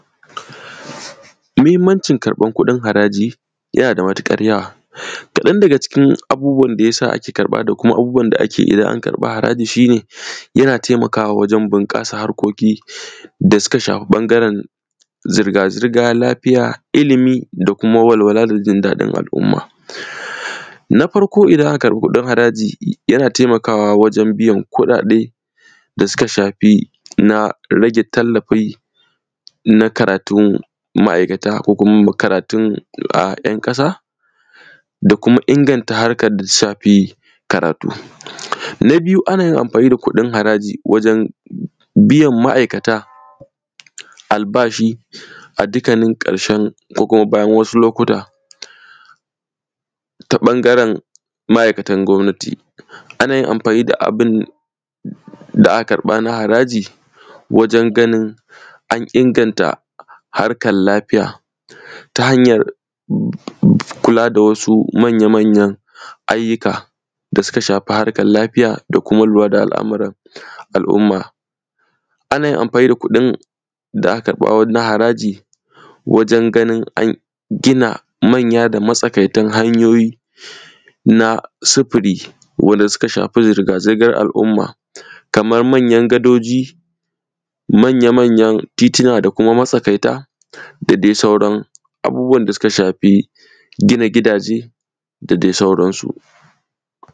Mihimmancin karƃan kuɗin haraji, yana da matiƙar yawa. Kaɗan daga cikin abubuwan da ya sa ake karƃa da kuma abubuwan da ake idan an karƃa haraji, shi ne yana temakawa wajen binƙasar harkoki da suka shafi ƃangaren zirga-zirga, lafiya, ilimi da kuma walwala da jin daɗin al’uma. Na farko idana aka karƃi kuɗin haraji, yana temakawa wajen biyan kuɗaɗe da suka shafi na rage tallafi na karatun ma’aikata ko kuma karatun ‘yan ƙasa da kuma inganta harkar da ta shafi karatu. Na biyu, ana yin amfani da kuɗin haraji wajen biyan ma’aikata albashi a dikanin ƙarshen ko kuma bayan wasu lokuta ta ƃangaren ma’aikatan gwabnati. Ana yin amfani da abin da aka karƃa na haraji wajen ganin an inganta harkal lafiya ta hanyar m; m; kula da wasu manyamanyan ayyika da sika shafi harkar lafiya da kuma lura da al’amuran al’uma. Ana yin amfani da kuɗin da aka karƃa na haraji wajen ganin an gina manya da matsakaitan hanyoyi na sifiri wadda suka shafi zirga-zirgar al’uma kamam manyan gadoji, manyamanyan titina da kuma masakaita da de sauran abubuwan da suka shafi gina gidaje da de sauran su.